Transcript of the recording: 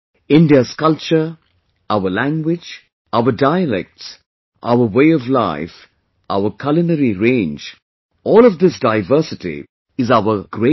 India's culture, our languages, our dialects, our way of life, our culinary range, all of this diversity is our great strength